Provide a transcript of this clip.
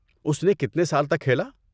اس نے کتنے سال تک کھیلا؟